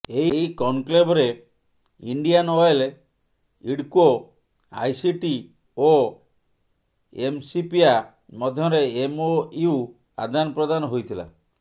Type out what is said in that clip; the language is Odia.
ଏହି କନକ୍ଲେଭରେ ଇଣ୍ଡିଆନ ଅଏଲ ଇଡ୍କୋ ଆଇସିଟି ଓ ଏମ୍ସିପିଆ ମଧ୍ୟରେ ଏମ୍ଓୟୁ ଆଦାନପ୍ରଦାନ ହୋଇଥିଲା